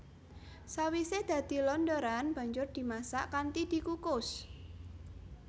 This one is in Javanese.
Sawisé dadi londoran banjur dimasak kanthi dikukus